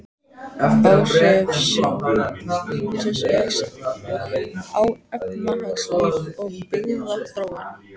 Áhrif sjávarútvegs á efnahagslíf og byggðaþróun.